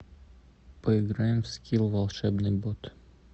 поиграем в скил волшебный бот